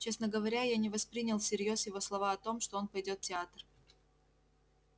честно говоря я не воспринял всерьёз его слова о том что он пойдёт в театр